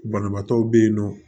Banabaatɔw be yen nɔ